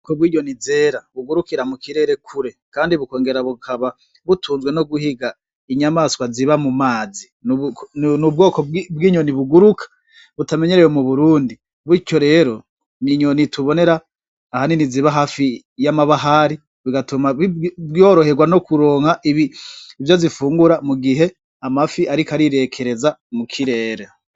Ko bw'inyoni zera bugurukira mu kirere kure, kandi bukongera bukaba butunzwe no guhiga inyamaswa ziba mu mazi n' ubwoko bw'inyoni buguruka butamenyerewe mu burundi butyo rero minyoni itubonera ahanini ziba hafi y'amabahari bigatuma ibworoherwa no kuronka ibi ivyo zifungura mu gihe amafi, ariko arirekereza mu kirera.